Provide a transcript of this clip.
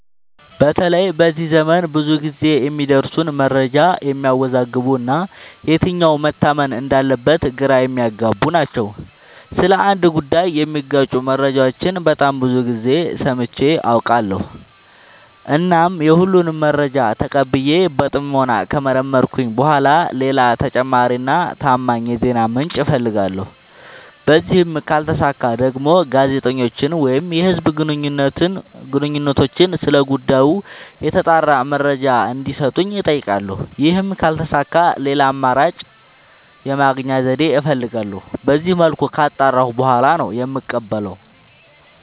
በተለይ በዚህ ዘመን ብዙ ግዜ የሚደርሱን መረጃዎች የሚያዎዛግቡ እና የትኛው መታመን እንዳለበት ግራ የሚያገቡ ናቸው። ስለ አንድ ጉዳይ የሚጋጩ መረጃዎችን በጣም ብዙ ግዜ ሰምቼ አውቃለሁ። እናም የሁሉንም መረጃ ተቀብዬ በጥሞና ከመረመርኩኝ በኋላ ሌላ ተጨማሪ እና ታማኝ የዜና ምንጭ አፈልጋለሁ። በዚህም ካልተሳካ ደግሞ ጋዜጠኞችን ወይም የህዝብ ግንኙነቶችን ስለ ጉዳዩ የተጣራ መረጃ እንዲ ሰጡኝ አጠይቃለሁ። ይህም ካልተሳካ ሌላ አማራጭ የመረጃ የማግኛ ዘዴ እፈልጋለሁ። በዚመልኩ ካጣራሁ በኋላ ነው የምቀበለው።